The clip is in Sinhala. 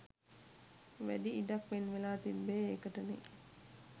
වැඩි ඉඩක් වෙන්වෙලා තිබ්බේ ඒකටනේ.